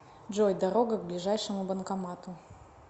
джой дорога к ближайшему банкомату